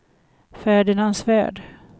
Ferdinand Svärd